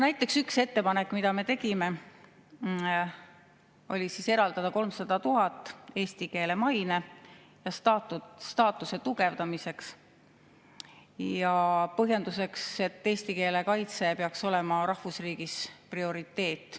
Näiteks üks ettepanek, mille me tegime, oli eraldada 300 000 eesti keele maine ja staatuse tugevdamiseks, põhjendusega, et eesti keele kaitse peaks olema rahvusriigis prioriteet.